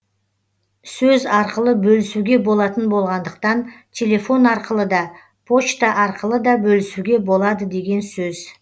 сөз арқылы бөлісуге болатын болғандықтан телефон арқылы да почта арқылы да бөлісуге болады деген сөз